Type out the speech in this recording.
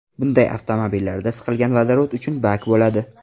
Bunday avtomobillarda siqilgan vodorod uchun bak bo‘ladi.